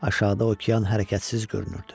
Aşağıda okean hərəkətsiz görünürdü.